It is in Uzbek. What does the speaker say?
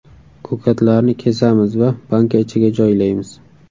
Ko‘katlarni kesamiz va banka ichiga joylaymiz.